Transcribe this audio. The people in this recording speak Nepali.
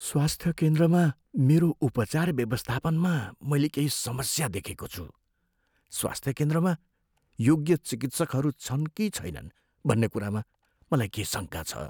स्वास्थ्य केन्द्रमा मेरो उपचार व्यवस्थापनमा मैले केही समस्या देखेको छु। स्वास्थ्य केन्द्रमा योग्य चिकित्सकहरू छन् कि छैनन् भन्ने कुरामा मलाई केही शङ्का छ।